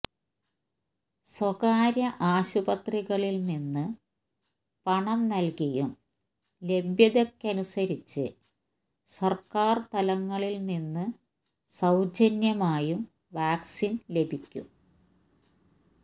സ്വകാര്യ ആശുപത്രികളിൽ നിന്ന് പണം നൽകിയും ലഭ്യതയ്ക്കനുസരിച്ച് സർക്കാർ തലങ്ങളിൽ നിന്ന് സൌജന്യമായും വാക്സിൻ ലഭിക്കും